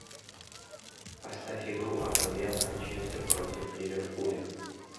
поставь игру апл манчестер против ливерпуля